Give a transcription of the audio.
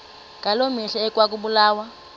ngaloo mihla ekwakubulawa